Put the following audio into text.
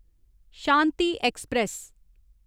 Shanti express